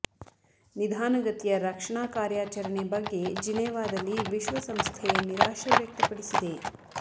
ನಿಧಾನ ಗತಿಯ ರಕ್ಷಣಾ ಕಾರ್ಯಾಚರಣೆ ಬಗ್ಗೆ ಜಿನೇವದಲ್ಲಿ ವಿಶ್ವಸಂಸ್ಥೆ ನಿರಾಶೆ ವ್ಯಕ್ತಪಡಿಸಿದೆ